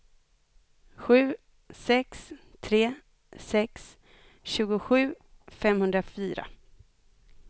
sju sex tre sex tjugosju femhundrafyra